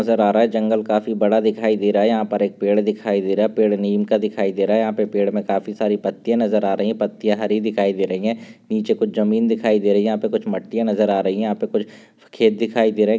नज़र आ रहा है। जंगल काफी बड़ा दिखाई दे रहा है। यहा पर एक पेड़ दिखाई दे रहा है। पेड़ नीम का दिखाई दे रहा है। यहा पे पेड़ मे काफी सारी पत्तिया नज़र आ रही है। पत्तिया हरी दिखाई दे रही है। नीचे कुछ जमीन दिखाई दे रही है। यहा पे कुछ मट्टिया नज़र आ रही है। यहा पे कुछ खेत दिखाई दे रहा है।